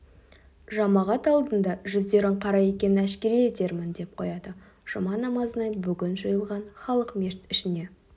жамағат алдында жүздерің қара екенін әшкере етермін деп қояды жұма намазына бүгін жиылған халық мешіт ішіне